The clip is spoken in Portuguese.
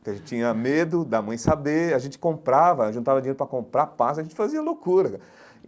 porque a gente tinha medo da mãe saber, a gente comprava, juntava dinheiro para comprar pasta, a gente fazia loucura.